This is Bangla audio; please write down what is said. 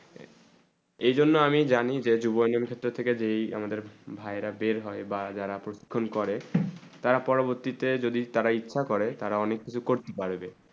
এই জন্যে আমি জানি যে জীবযুন্ন ক্ষেত্রে থেকে যেই ভাই রা বের বা যারা প্রশিক্ষণ করে তার পরে অবশ্যি তে যদি ইচ্ছা করে তারা অনেক কিছু করতে পারবে